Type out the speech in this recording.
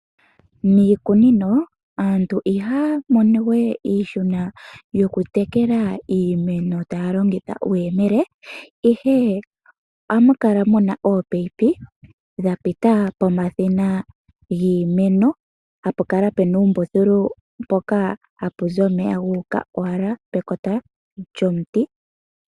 Miikunino aantu ihaya mono we iihuna yokutekela iimeno taya longitha uuyemele, ihe ohamu kala mu na oopaipi dha pita pomakota giimeno hapu kala pe na uumbululu mpoka hapu zi omeya ga uka owala pekota lyomuti.